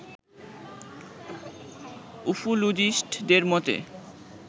উফোলোজিস্টদের মতে